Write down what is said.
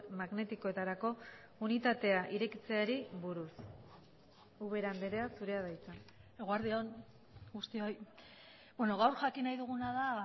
magnetikoetarako unitatea irekitzeari buruz ubera andrea zurea da hitza eguerdi on guztioi gaur jakin nahi duguna da